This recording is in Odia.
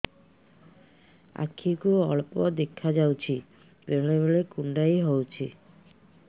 ଆଖି କୁ ଅଳ୍ପ ଦେଖା ଯାଉଛି ବେଳେ ବେଳେ କୁଣ୍ଡାଇ ହଉଛି